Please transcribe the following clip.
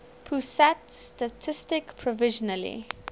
pusat statistik provisionally